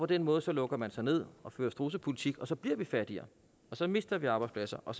den måde lukker man sig ned og fører strudsepolitik og så bliver vi fattigere så mister vi arbejdspladser og